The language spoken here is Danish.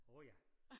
Åh ja